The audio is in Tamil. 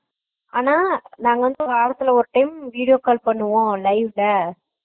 ஆனா நாங்க வாரத்துக்கு ஒரு time video call பண்ணுவோம் live ல